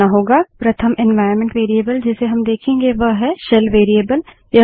प्रथम environment variable जिसे हम देखेंगे वह है शेल वेरिएबल